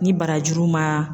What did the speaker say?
Ni barajuru ma.